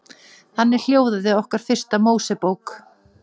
Þannig hljóðaði okkar fyrsta Mósebók.